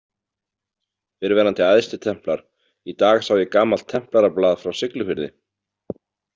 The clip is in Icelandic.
Fyrrverandi æðstitemplar Í dag sá ég gamalt templarablað frá Siglufirði.